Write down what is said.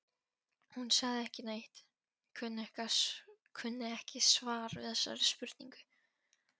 Hún sagði ekki neitt, kunni ekki svar við þessari spurningu.